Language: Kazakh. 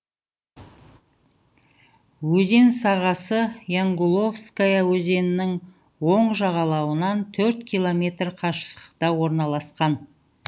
өзен сағасы янгуловская өзенінің оң жағалауынан төрт километр қашықтықта орналасқан